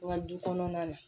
Wa du kɔnɔna na